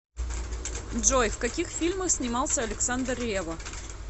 джой в каких фильмах снимался александр ревва